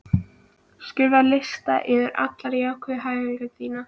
Skrifaðu lista yfir alla jákvæðu hæfileikana þína.